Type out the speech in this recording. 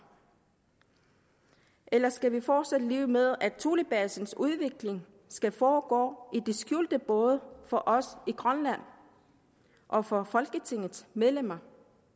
eller skal vi fortsat leve med at thulebasens udvikling skal foregå i det skjulte både for os i grønland og for folketingets medlemmer